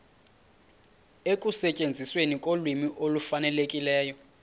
ekusetyenzisweni kolwimi olufanelekileyo